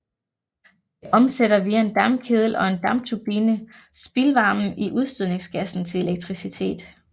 Det omsætter via en dampkedel og en dampturbine spildvarmen i udstødningsgassen til elektricitet